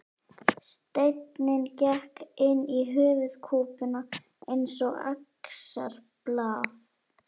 Steinninn gekk inn í höfuðkúpuna eins og axarblað.